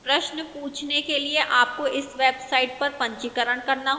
प्रश्न पूछने के लिए आपको इस website पर पंजीकरण करना होगा